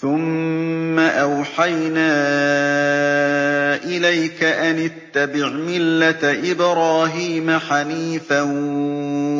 ثُمَّ أَوْحَيْنَا إِلَيْكَ أَنِ اتَّبِعْ مِلَّةَ إِبْرَاهِيمَ حَنِيفًا ۖ